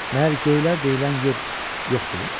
Məyər göylər deyilən yer yoxdur?